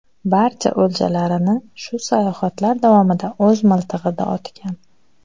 Barcha o‘ljalarini shu sayohatlar davomida o‘z miltig‘ida otgan.